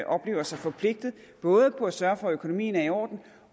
oplever sig forpligtet både på at sørge for at økonomien er i orden